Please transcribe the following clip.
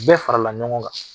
bɛɛ farala ɲɔgɔn kan.